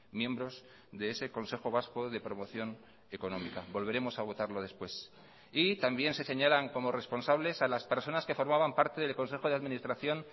miembros de ese consejo vasco de promoción económica volveremos a votarlo después y también se señalan como responsables a las personas que formaban parte del consejo de administración